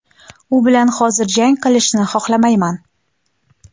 U bilan hozir jang qilishni xohlamayman.